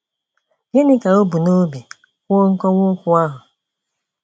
Gịnị ka o bu n'obi kwuo nkwuwa okwu ahụ?